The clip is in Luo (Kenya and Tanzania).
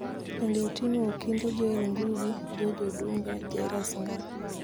Bende oting'o Okinde Joel Ngugi, George Odunga, Jairus Ngaah,